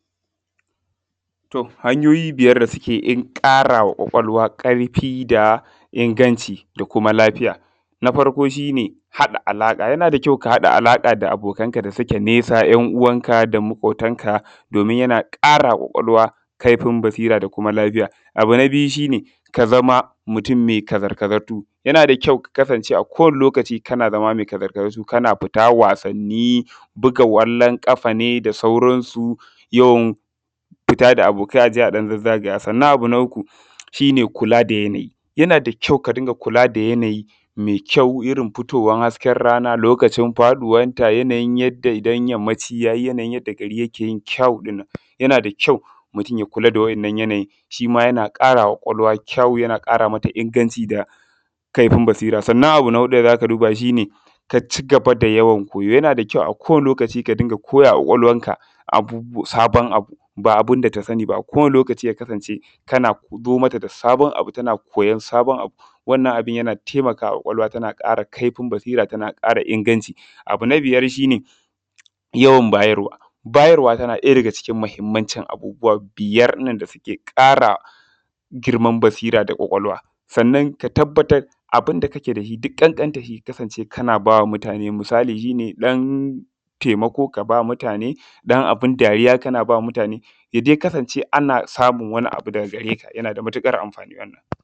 To hanyoyin biyar da suke kara wa ƙwaƙwalwa karfi da inganta da kuma lafiya na farko shi ne haɗa alaƙa, yana da ƙyau ka haɗa alaƙa da abokan da suke nesa da yan uwanka da maƙotanka don a kara ma ƙwaƙwalwa kaifin basir da kuma lafiya. Biyu shi ne ka zama mutum mai kazar-kazar yana da ƙyau a kowanne lokaci kana zama mai kazar-kazar wasanni buga kwallon kafa ne da sauran yawan fita da abokai a je a ɗan zazzaga. Sannan abu na uku shi ne kula da yanayi, yana da ƙyau ka riƙa kula da yanayi mai ƙyau Irin fitowar hasken rana lokacin faɗuwarta yadda idan yammaci ya yi yadda gari ke yin ƙyau din nan. Mutun ya kula da shi yana ƙara wa ƙwaƙwalwa ƙyau yana ƙara wa ƙwaƙwalwa inganci da kaifi basira. Abu na huɗu da za ka duba ka ci gaba da yawan koyo, kowanne lokaci ka riƙa koya wa ƙwaƙwalwarka wani abu, ba abun da ta sani ba kana zo mata da sabon abu tana koyan sabon abu wannan abun yana taimakawa, ƙwaƙwalwa tana ƙara kaifin basira tana kuma ƙara kuma inganci. Abu na biyar shi ne yawan bayar. Bayarwa shi ne yana ɗaya daga cikin muhimmanci abubuwa biyar ɗin na da suke ƙara girman basira da ƙarfin ƙwaƙwalwa. Sannan abun da kake da shi duk ƙanƙantar sa kana ba wa mutane wato misali shi ne ɗan taimako ka ba mutane, abun dariya kana ba mutane, ka kasance ana samun wani abu daga gare ka yana da matukar amfani wannan.